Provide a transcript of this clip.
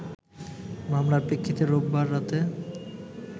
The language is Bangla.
মামলার প্রেক্ষিতে রোববার রাতে